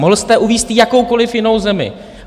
Mohl jste uvést jakoukoliv jinou zemi.